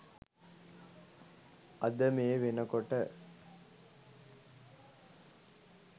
අද මේ වෙනකොට